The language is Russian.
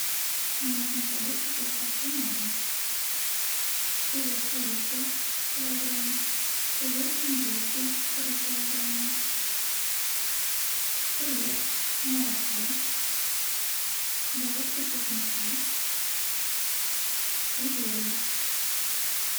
мне нужны продукты с доставкой на дом филе курицы килограмм филе индейки три килограмма хлеб молоко головка чеснока и зелень